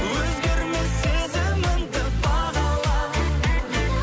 өзгермес сезіміңді бағала